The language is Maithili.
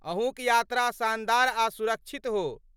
अहूँक यात्रा शानदार आ सुरक्षित हो।